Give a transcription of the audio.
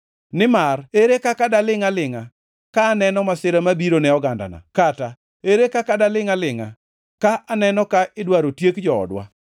Nimar ere kaka dalingʼ alingʼa ka aneno masira mabiro ne ogandana? Kata ere kaka dalingʼ alingʼa ka aneno ka idwaro tiek joodwa.”